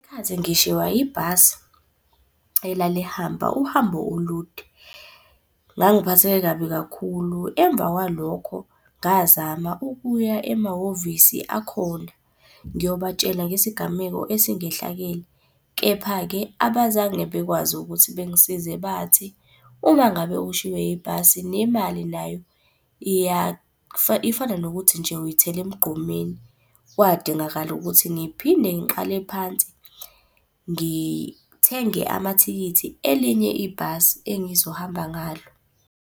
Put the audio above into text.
Khathi ngishiywa ibhasi elalihamba uhambo olude. Ngangiphatheke kabi kakhulu emva kwalokho ngazama ukuya emahhovisi akhona, ngiyobatshela ngesigameko esingehlakele. Kepha-ke abazange bekwazi ukuthi bengisize bathi, uma ngabe ushiywe ibhasi nemali nayo ifana nokuthi nje uyithele emgqomeni. Kwadingakala ukuthi ngiphinde ngiqale phansi ngithenge amathikithi elinye ibhasi engizohamba ngalo.